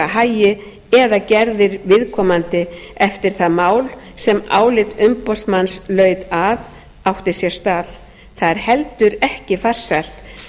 hagi eða gerðir viðkomandi eftir það mál sem álit umboðsmanns laut að átti sér stað það er heldur ekki farsælt